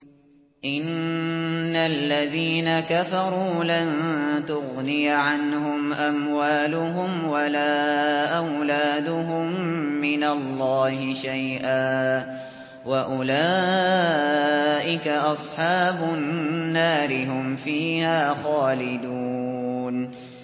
إِنَّ الَّذِينَ كَفَرُوا لَن تُغْنِيَ عَنْهُمْ أَمْوَالُهُمْ وَلَا أَوْلَادُهُم مِّنَ اللَّهِ شَيْئًا ۖ وَأُولَٰئِكَ أَصْحَابُ النَّارِ ۚ هُمْ فِيهَا خَالِدُونَ